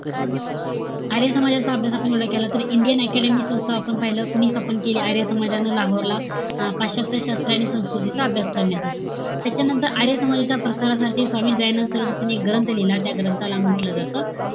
आर्य समाजच अभ्यास आपण एवढा केला तर, इंडियन academy संस्था आपण पाहिलं. कोणी स्थापन केली? आर्य समाजानं, लाहोरला. अं पाश्चात्य शास्त्र आणि संस्कृतीचा अभ्यास करण्यासाठी. त्याच्यानंतर, आर्य समाजाच्या प्रसारासाठी स्वामी दयानंद सरस्वतीने एक ग्रंथ लिहिला. त्या ग्रंथाला म्हंटल जात,